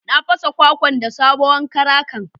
Na fasa kwakwan da sabowan karakan.